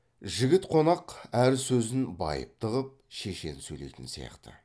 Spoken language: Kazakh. жігіт қонақ әр сөзін байыпты қып шешен сөйлейтін сияқты